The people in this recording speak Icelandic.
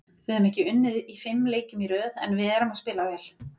Við höfum ekki unnið í fimm leikjum í röð en við erum að spila vel